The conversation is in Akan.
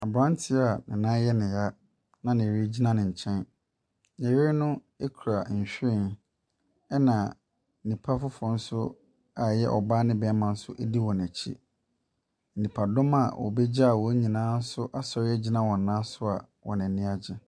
Aberanteɛ a ne nan yɛ ne ya na ne yere gyina ne nkyɛn. Ne yere no kura nhwiren, ɛna nnipa foforɔ nso a ɛyɛ ɔbaa ne barima nso di wɔn akyi. Nnipadɔm a wɔbɛgyaa wɔn nyinaa nso asɔre agyina wɔn nan so a wɔn ani agye.